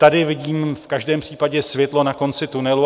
Tady vidím v každém případě světlo na konci tunelu.